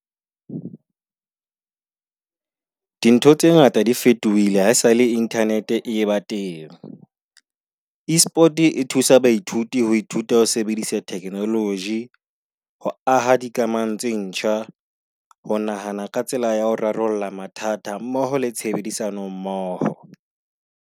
Dintho tse ngata di fetohile haesale internet e ba teng. Esport e thusa baithuti ho ithuta o sebedisa technology, ho aha dikamano tse ntjha. Ho nahana ka tsela ya ho rarolla mathata mmoho le tshebedisano mmoho.